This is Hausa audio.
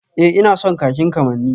Ee ina son kakin kamanni